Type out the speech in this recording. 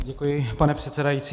Děkuji, pane předsedající.